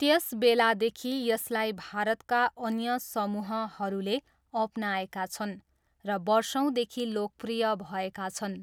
त्यसबेलादेखि, यसलाई भारतका अन्य समूहहरूले अपनाएका छन् र वर्षौँदेखि लोकप्रिय भएका छन्।